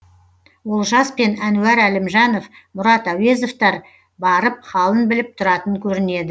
олжас пен әнуар әлімжанов мұрат әуезовтер барып халін біліп тұратын көрінеді